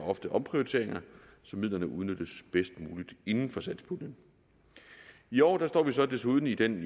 ofte omprioriteringer så midlerne udnyttes bedst muligt inden for satspuljen i år står vi så desuden i den